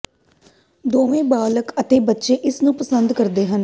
ਦੋਵੇਂ ਬਾਲਗ ਅਤੇ ਬੱਚੇ ਇਸ ਨੂੰ ਪਸੰਦ ਕਰਦੇ ਹਨ